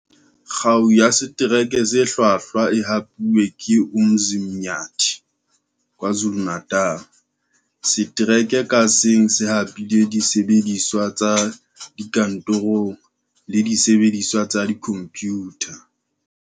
Kgao ya Setereke se Hlwahlwa e hapuwe ke Umzinyathi, KwaZuluNatal. Setereke kang ka seng se hapile disebediswa tsa dikantorong le disebe diswa tsa dikhomphutha.